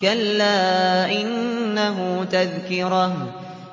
كَلَّا إِنَّهُ تَذْكِرَةٌ